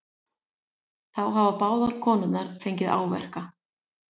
Þá hafi báðar konurnar fengið áverka